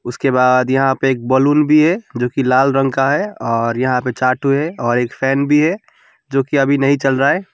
इसके बाद यहां पे एक बलून भी है जो की लाल रंग का है और यहां पे चा ठो है और एक फैन भी है जो कि अभी नहीं चल रहा है।